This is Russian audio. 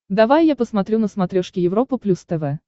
давай я посмотрю на смотрешке европа плюс тв